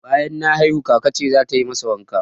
Banyan na haihu, kaka ce zata yi masa wanka